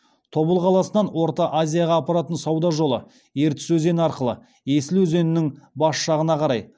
тобыл қаласынан орта азияға апаратын сауда жолы ертіс өзені арқылы есіл өзенінің бас жағына қарай